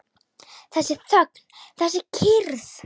Þessi þögn, þessi kyrrð!